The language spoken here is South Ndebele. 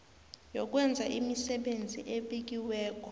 yokwenza imisebenzi ebekiweko